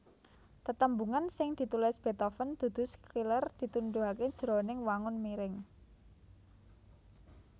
Tetembungan sing ditulis Beethoven dudu Schiller ditunduhaké jroning wangun miring